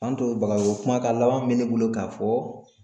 K'an to bagaro kumakan laban min bɛ ne bolo ka fɔ